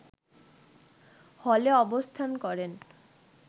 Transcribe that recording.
হলে অবস্থান করেন